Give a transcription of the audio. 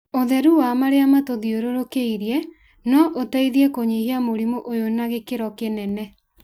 ũtheru wa marĩa matuthiũrũrũkĩirie no ũteithie kũnyihia mũrimũ ũyũ na gĩkĩro kĩnene.